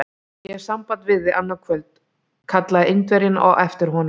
Ég hef samband við þig annað kvöld! kallaði Indverjinn á eftir honum.